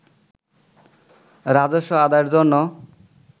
রাজস্ব আদায়ের জন্য